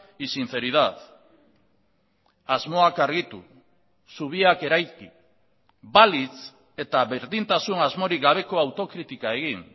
y sinceridad asmoak argitu zubiak eraiki balitz eta berdintasun asmorik gabeko autokritika egin